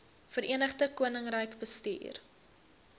verenigde koninkryk bestuur